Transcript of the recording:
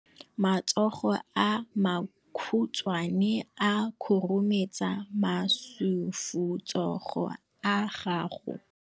Matsogo a makhutshwane a khurumetsa masufutsogo a gago.